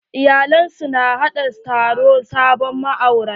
Iyalai su na haɗa taron sabon ma'aurata.